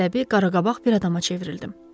Əsəbi, qaraqabaq bir adama çevrildim.